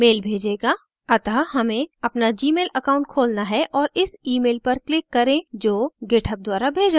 अतः हमें अपना जीमेल account खोलना है और इस email पर click करें जो github द्वारा भेजा गया